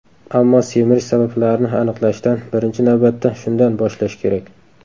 Ammo semirish sabablarini aniqlashdan, birinchi navbatda shundan, boshlash kerak.